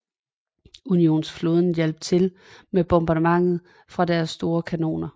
Unionens flåde hjalp til med bombardement fra deres store kanoner